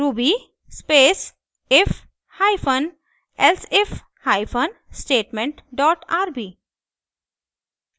ruby space if hyphen elsif hyphen statement dot rb